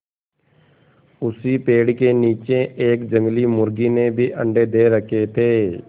उसी पेड़ के नीचे एक जंगली मुर्गी ने भी अंडे दे रखें थे